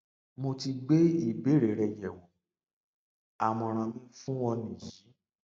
mo ti gbé ìbéèrè rẹ yẹwò àmọràn mi fún ọ nìyí